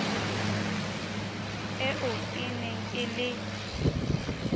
eo e neng e le